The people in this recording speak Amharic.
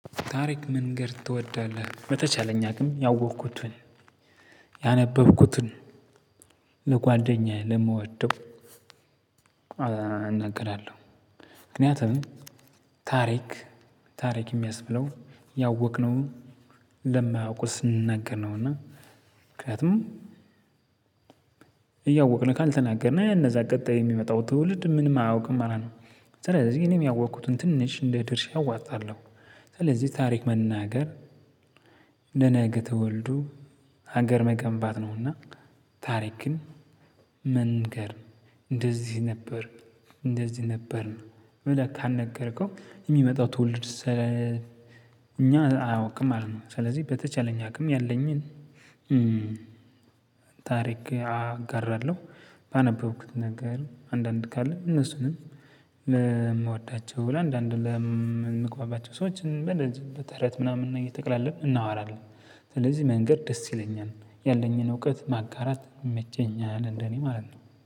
ታሪክ መንገር ትወዳለህ በተቻለኝ አቅም ያወቅኩትን ያነበብኩትን ለጓደኛዬ ለምወደው እናገራለሁ። ምክንያቱም ታሪክ ታሪክ የሚያስብለው ያወቅነውን ለማያውቁት ስንነግር ነው እና ምክንያቱም እያወቅን ካልተናገርን እነዛ ቀጣይ የሚመጣው ትውልድ ምንም አያውቅም ማለት ነው። ስለዚህ እኔም ያወቅኩትን ትንሽ እንደ ድርሻ እወጣለሁ። ስለዚህ ታሪክ መናገር ለነገ ትውልዱ ሀገር መገንባት ነውና። ታሪክን መንገር እንደዚህ ነበር እንደዚህ ነበር ብለህ ካልነገርከው የሚመጣው ትውልድ ስለእኛ አያውቅም ማለት ነው። ስለዚህ በተቻለኝ አቅም ያለኝን ታሪክ አጋራለሁ። ባነበብኩት ነገር አንዳንድ ካለ እነሱንም ለምወዳቸው ለአንዳንድ ለምንቆማቸው ሰዎች በእነዚ በተረት ምናምን እየተቀላለድን እናወራለን። ስለዚህ መንገር ደስ ይለኛል። ያለኝን እውቀት ማጋራት ይመቸኛል እንደኔ ማለት ነው።